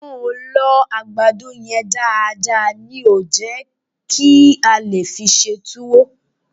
Wọ́n ò lọ àgbàdo yẹn dáadáa ní ò jẹ́ kí a lè fi ṣe tuwo